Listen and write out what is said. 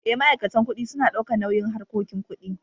Eh, ma'aikatan kuɗi suna daukan nauyin harkoki ƙuɗi.